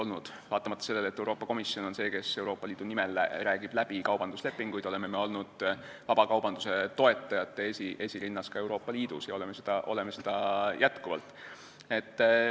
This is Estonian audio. Aga vaatamata sellele, et Euroopa Komisjon on see, kes Euroopa Liidu nimel räägib läbi kaubanduslepinguid, oleme me olnud vabakaubanduse toetajate esirinnas ka Euroopa Liidus ja oleme seda jätkuvalt.